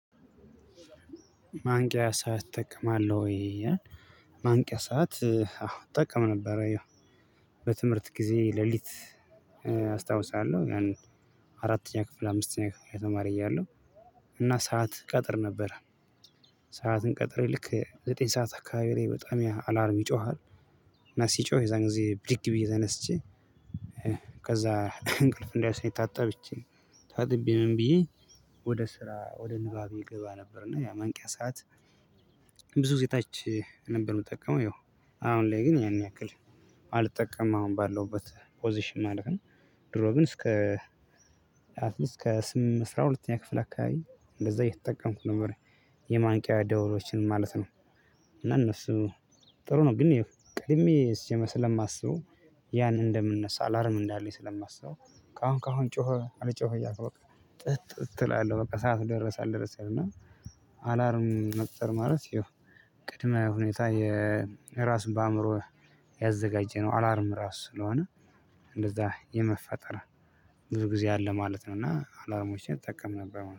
ማንቂያ ሰዓት ትጠቀማለህወይ? ይላል። ማንቂያ ሰዓት አዎ እጠቀም ነበረ ያው በትምህርት ጊዜ ሌሊት አስታውሳለሁ። ያን አራተኛ ክፍል አምስተኛ ክፍል ተማሪ እያለሁ እና ሰዓት እቀጥር ነበረ። ሰዓትን ቀጥሬ ልክ ዘጠኝ ሰዓት አካባቢ ላይ በጣም አላርም ይጮሃል። እና ሲጮህ የዛን ጊዜ ብድግ ብዬ ተነስቼ ከዛ እንቅልፍ እንዳይወስደኝ ታጠብቼ ታጥቤ ምን ብዬ ወደ ስራ ወደ ንባቤ እገባ ነበርና ያ ማንቂያ ሰዓት። ብዙ ግዜ ታች ነበር ምጠቀመው ያው አሁን ላይ ግን ያን ያክል አልጠቀምም። አሁን ባለውበት ፖዚሽን ማለት ነው። ድሮ ግን እስከ አትሊስት ከስም አስራ ሁለተኛ ክፍል አካባቢ እንደዛ እየተጠቀምኩ ነበር። የማንቂያ ደወሎችን ማለት ነው። እና እነሱ ጥሩ ነው ግን ያው ቀድሜ ሲጀመር ስለማስበው። ያን እንደምነሳ አላርም እንዳለኝ ስለማስበው ከአሁን ከአሁን ጮኸ አልጮኸኝ እያልኩ በቃ። ጥጥ እላለው በቃ ሰዓት ደረሰ አልደረሰ እና። አላርም መፍጠር ማለት ያው ቅድመ ሁኔታ። እራስን በአእምሮ ያዘጋጀነው አላርም ራሱ ስለሆነ። እንደዛ የመፈጠር ብዙ ጊዜ አለ ማለት ነው። እና አላርሞቼን እጠቀም ነበር